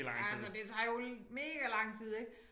Ja altså det tager jo mega lang tid ik